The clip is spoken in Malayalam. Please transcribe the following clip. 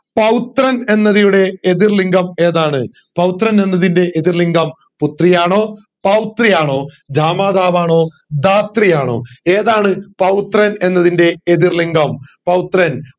പൗത്രൻ എന്നതിയുടെ എതിർ ലിംഗം ഏതാണ് പൗത്രൻ എന്നതിൻറെ എതിർ ലിംഗം പുത്രി ആണോ പൗത്രി ആണോ ജാമാതാവ് ആണോ ധാത്രി ആണോ ഏതാണ് പൗത്രൻ എന്നതിൻറെ എതിർ ലിംഗം പൗത്രൻ